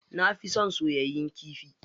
Na fi son soyayyen kifi.